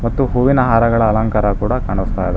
ಮತ್ತು ಹೂವಿನ ಹಾರಗಳ ಅಲಂಕಾರ ಕೂಡ ಕಾಣುತ್ತಾ ಇದೆ.